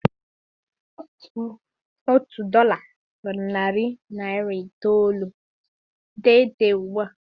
Otu dọla bụ narị naịra iteghete ugbua.